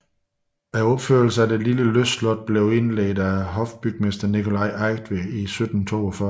Opførelsen af det lille lystslot blev indledt af hofbygmester Nicolai Eigtved i 1742